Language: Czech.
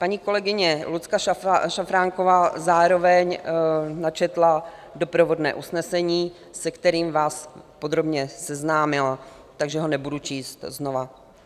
Paní kolegyně Lucka Šafránková zároveň načetla doprovodné usnesení, se kterým vás podrobně seznámila, takže ho nebudu číst znovu.